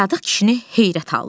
Sadiq kişini heyrət aldı.